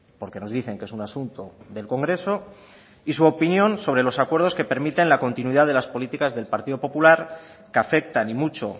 porque nos dicen que es un asunto del congreso y su opinión sobre los acuerdos que permiten la continuidad de las políticas del partido popular que afectan y mucho